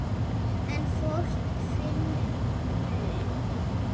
En fólk finnur mun.